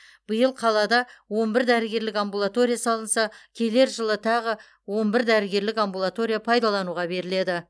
биыл қалада он бір дәрігерлік амбулатория салынса келер жылы тағы он бір дәрігерлік амбулатория пайдалануға беріледі